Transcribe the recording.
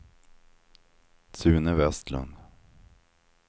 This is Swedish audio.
Sune Vestlund